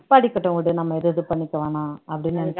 படிக்கட்டும் விடு நம்ம ஏதும் இது பண்ணிக்க வேணாம் அப்படின்னு